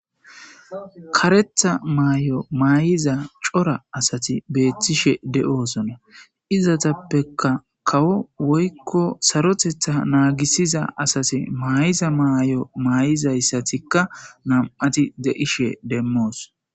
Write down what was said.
Karetha maayo maay'iza cora asati beettishe de'oosona izatappeka kawo woykko sarotetha naagisiza asase maay.iza maay'o maay7izayssatikka nam'ati de'ishe demmoos.